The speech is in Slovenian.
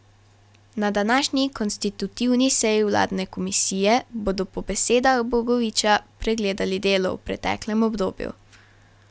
Na današnji konstitutivni seji vladne komisije bodo po besedah Bogoviča pregledali delo v preteklem obdobju.